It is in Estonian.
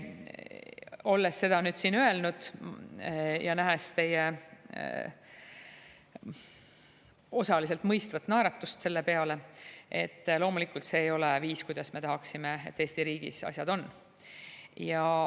Olles seda nüüd siin öelnud ja nähes teie osaliselt mõistvat naeratust selle peale – loomulikult, see ei ole viis, kuidas me tahaksime, et Eesti riigis asjad on.